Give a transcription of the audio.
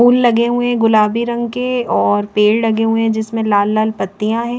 Full लगे हुए है गुलाबी रंग के और पेड़ लगे हुए है जिसमे लाल लाल पतिया है।